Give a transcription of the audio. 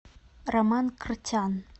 роман кртян